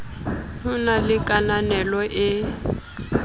ho na le kananelo e